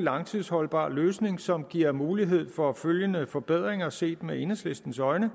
langtidsholdbar løsning som giver mulighed for følgende forbedringer set med enhedslistens øjne